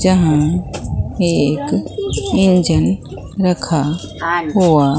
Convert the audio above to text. जहां एक इंजन रखा हुआ --